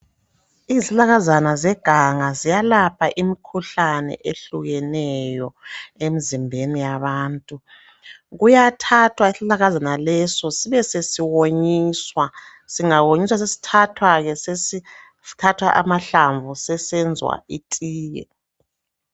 Izihlahlakazana zeganga ziyalapha imkhuhlane Ehlukeneyo emzimbeni yabantu kuyathathwa isihlahlakazana leso sibe sesiwonyiswa singawongisea sibesesithathwa ke sesithathwa amahlamvu sesenzwa itiye